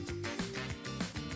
Bütün tərəvəzləri doğradıq.